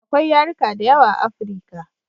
Akwai yarika da yawa a africa